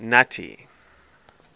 nuttie